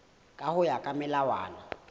ka ho ya ka melawana